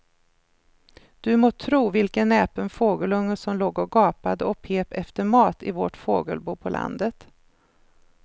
Du må tro vilken näpen fågelunge som låg och gapade och pep efter mat i vårt fågelbo på landet.